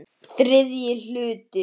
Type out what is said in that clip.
ÞRIðJI HLUTI